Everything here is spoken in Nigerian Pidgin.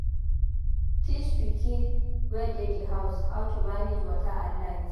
Teach pikin wey dey di house how to manage water and light